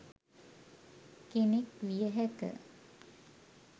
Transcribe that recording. කෙනෙක් විය හැක.